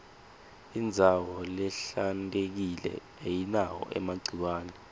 indzawo lehlantekile ayinawo emagciwane